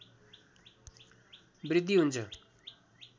वृद्धि हुन्छ